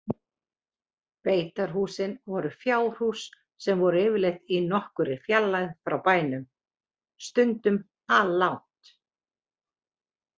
Beitarhúsin voru fjárhús sem voru yfirleitt í nokkurri fjarlægð frá bænum, stundum alllangt.